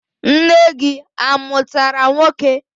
Nne gị amụtara nwoke?